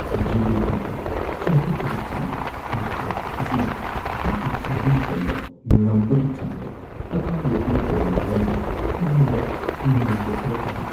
G. D. P. ꯒꯤ ꯆꯥꯎꯈꯠꯄꯒꯤ ꯆꯥꯡ ꯍꯟꯊꯔꯛꯄ ꯑꯁꯤꯅ ꯑꯩꯒꯤ ꯆꯥꯗꯤꯡ ꯇꯧꯕ ꯉꯝꯕꯒꯤ ꯆꯥꯡꯗ ꯑꯀꯥꯏꯕ ꯄꯤꯔꯛꯀꯗꯕ ꯃꯔꯝꯅ ꯑꯩꯉꯣꯟꯗ ꯅꯨꯡꯅꯥꯡꯕ ꯈꯔ ꯐꯥꯎꯍꯜꯂꯤ꯫